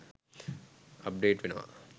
update වෙනව